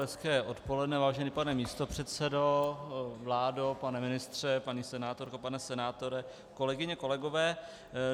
Hezké odpoledne, vážený pane místopředsedo, vládo, pane ministře, paní senátorko, pane senátore, kolegyně, kolegové.